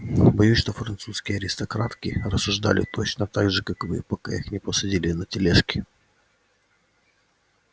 боюсь что французские аристократки рассуждали точно так же как вы пока их не посадили на тележки